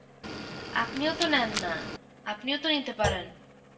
আপনিও তো নেন না, আপনিও তো নিতে পারেন.